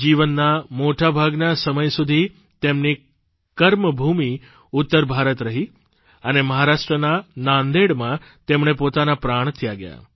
જીવનના મોટા ભાગના સમય સુધી તેમની કર્મભૂમિ ઉત્તર ભારત રહી અને મહારાષ્ટ્રના નાંદેડમાં તેમણે પોતાના પ્રાણ ત્યાગ્યા